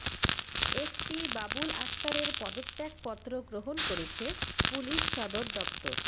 SP Babul আক্তারের পদত্যাগপত্র গ্রহণ করেছে পুলিশ সদর দপ্তর